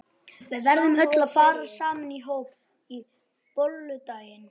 Við verðum öll að fara saman í hóp á bolludaginn.